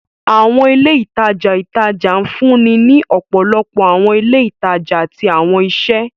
Awọn ile itaja itaja nfunni ni ọpọlọpọ awọn ile itaja ati awọn iṣẹ.